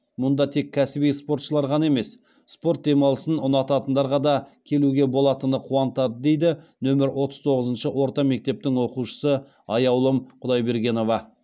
мұнда тек кәсіби спортшылар ғана емес спорт демалысын ұнататындарға да келуге болатыны қуантады дейді нөмір отыз тоғызыншы орта мектептің оқушысы аяулым құдайбергенова